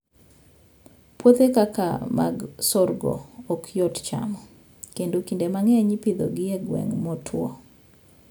Puothe kaka mag sorgo ok yot chamo, kendo kinde mang'eny ipidhogi e gwenge motwo.